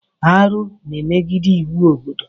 Arụ na-emegide iwu obodo.